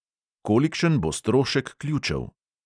Kolikšen bo strošek ključev?